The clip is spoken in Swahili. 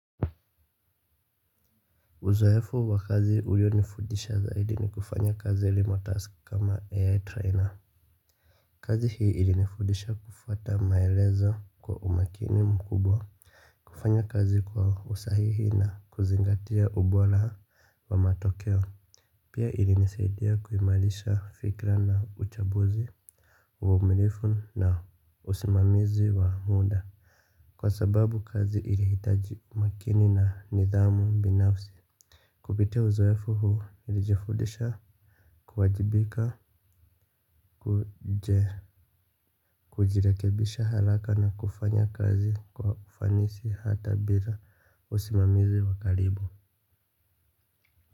Uzowefu wa kazi ulionifudisha zaidi ni kufanya kazi ya remotask kama AI trainer. Kazi hii ilinifundisha kufuata maelezo kwa umakini mkubwa. Kufanya kazi kwa usahihi na kuzingatia ubora wa matokeo. Pia ilinisaidia kuimarisha fikra na uchambuzi. Womilifu na usimamizi wa muda. Kwa sababu kazi ili hitaji makini na nidhamu binafsi. Kupitia uzowefu huu, nilijifudisha, kuwajibika, kujirekebisha haraka na kufanya kazi kwa ufanisi hata bila usimamizi wa karibu.